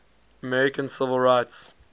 american civil rights